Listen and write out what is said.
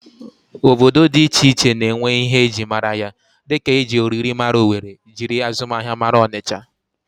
Obodo dị iche iche na-enwe ihe e ji mara ya dịka e ji oriri mara Owere, jiri azụmahịa mara Ọnịcha